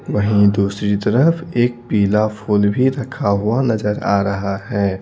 वहीं दूसरी तरफ एक पीला फूल भी रखा हुआ नजर आ रहा है।